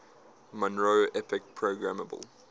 monroe epic programmable